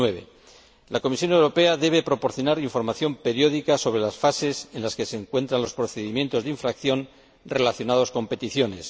2009. La Comisión Europea debe proporcionar información periódica sobre las fases en que se encuentran los procedimientos de infracción relacionados con peticiones.